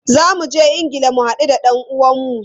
Za mu je Ingila mu hadu da dan uwanmu.